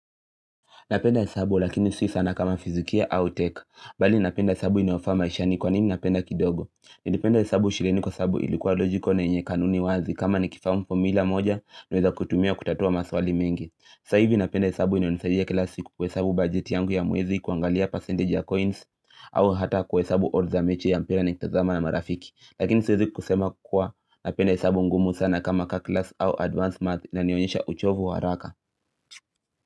Napenda hesabu lakini si sana kama fisikia au tech bali napenda hesabu inoyafaa maisha ni kwa nini napenda kidogo nilipenda hesabu shuleni kwa sababu ilikuwa logical na yenye kanuni wazi kama nikifamu formula moja nweza kutumia kutatua maswali mengi sasa hivi napenda hesabu inionisaidia kila siku kuhesabu bajeti yangu ya muwezi kuangalia percentage ya coins au hata ku hesabu odds za mechi ya mpira ni kitazama na marafiki. Lakini siwezi kusema kuwa napenda hesabu ngumu sana kama calculus au advanced math na nionyesha uchovu wa haraka.